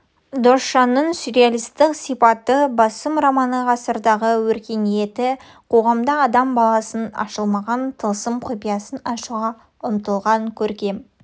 досжанның сюрреалистік сипаты басым романы ғасырдағы өркениетті қоғамда адам баласының ашылмаған тылсым құпиясын ашуға ұмтылған көркем